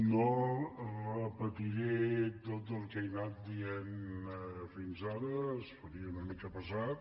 no repetiré tot el que he anat dient fins ara es faria una mica pesat